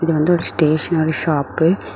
இது வந்து ஒரு ஸ்டேஷனரி ஷாப்பு .